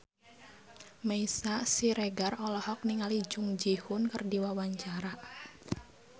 Meisya Siregar olohok ningali Jung Ji Hoon keur diwawancara